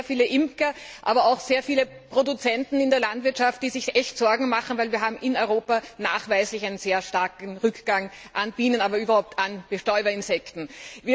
Es gibt sehr viele Imker, aber auch sehr viele Produzenten in der Landwirtschaft, die sich echte Sorgen machen, weil wir in Europa nachweislich einen sehr starken Rückgang an Bienen und überhaupt an Bestäuberinsekten haben.